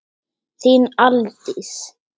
Þín, Aldís.